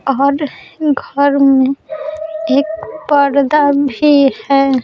और घर में एक पर्दा भी है।